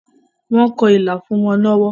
Wọ́n kọ ilà fún wọn lọ́wọ́.